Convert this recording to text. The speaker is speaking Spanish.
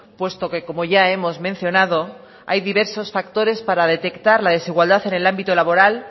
puesto que como ya hemos mencionado hay diversos factores para detectar la desigualdad en el ámbito laboral